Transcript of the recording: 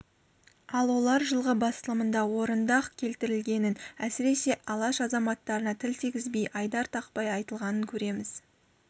ал олар жылғы басылымында орынды-ақ келтірілгенін әсіресе алаш азаматтарына тіл тигізбей айдар тақпай айтылғанын көреміз